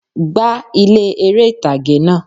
Gbá ilé eré ìtàgé náà